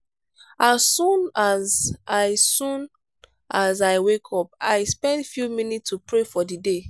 as soon as i soon as i wake i spend few minutes to pray for the day.